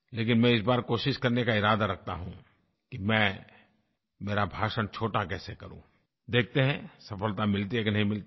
लेकिन मैं इस बार कोशिश करने का इरादा रखता हूँ कि मैं मेरा भाषण छोटा कैसे करूँ देखते हैं सफलता मिलती है कि नहीं मिलती है